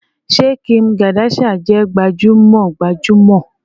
Ṣé Kim Kardashian jẹ gbajúmọ̀ gbajúmọ̀